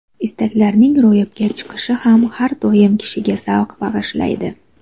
Istaklarning ro‘yobga chiqishi ham har doim kishiga zavq bag‘ishlaydi.